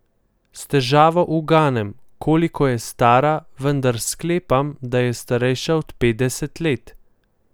S težavo uganem, koliko je stara, vendar sklepam, da je starejša od petdeset let.